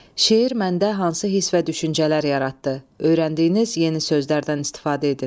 Şeir məndə hansı hiss və düşüncələr yaratdı, öyrəndiyiniz yeni sözlərdən istifadə edin.